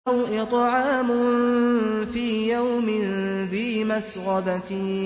أَوْ إِطْعَامٌ فِي يَوْمٍ ذِي مَسْغَبَةٍ